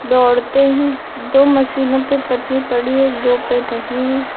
दौड़ते हैं दो मशीनों पे पटनी पड़ी है दो पे नहीं।